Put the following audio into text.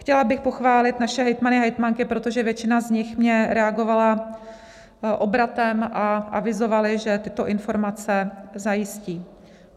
Chtěla bych pochválit naše hejtmany a hejtmanky, protože většina z nich mně reagovala obratem a avizovali, že tyto informace zajistí.